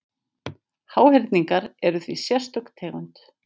Háhyrningar eru því sérstök tegund.